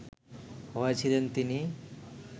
হয়েছিলেন তিনি